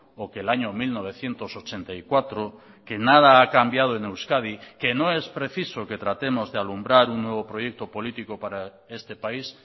o que el año mil novecientos ochenta y cuatro que nada ha cambiado en euskadi que no es preciso que tratemos de alumbrar un nuevo proyecto político para este país